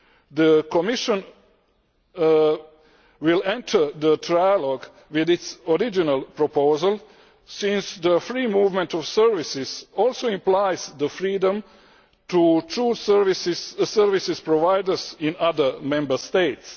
The Commission will enter the trialogue with its original proposal, since the free movement of services also implies the freedom to true service providers in other Member States.